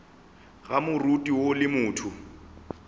ga moriti woo le motho